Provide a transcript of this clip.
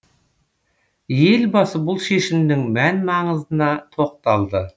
елбасы бұл шешімнің мән маңызына тоқталды